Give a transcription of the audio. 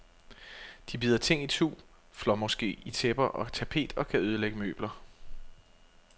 De bider ting itu, flår måske i tæpper og tapet og kan ødelægge møbler.